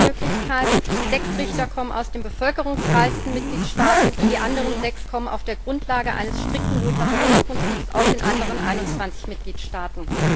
Zweite Möglichkeit Sechs Richter kommen aus den bevölkerungsreichsten Mitgliedstaaten, die anderen sechs kommen auf der Grundlage eines strikten Rotationsprinzips aus den anderen 21 Mitgliedstaaten.